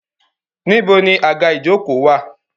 Níbo ni àga ìjokòó wà?